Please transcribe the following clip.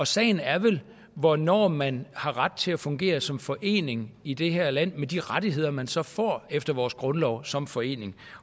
sagen er vel hvornår man har ret til at fungere som forening i det her land med de rettigheder man så får efter vores grundlov som forening